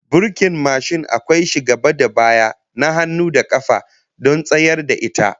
Burkin mashin akwai shi gaba da baya, na hannu da kafa, don tsayar da ita